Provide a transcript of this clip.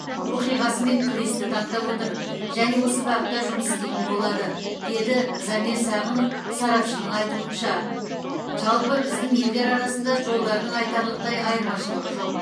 оқиғасымен күресті таңдап отыр және осы бағытта жұмыс істейтін болады деді замир сағынов сарапшының айтуынша жалпы біздің елдер арасында жолдардың айтарлықтай айырмашылығы жоқ